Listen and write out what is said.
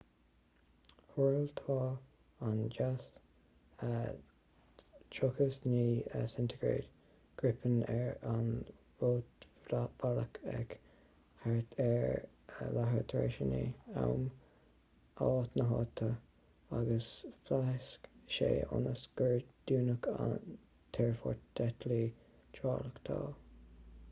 thuairteáil an jas 39c gripen ar an rúidbhealach ag thart ar 9:30 am áit na háite 0230 utc agus phléasc sé ionas gur dúnadh an t-aerfort d'eitiltí tráchtála